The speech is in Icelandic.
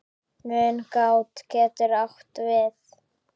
Mungát getur átt við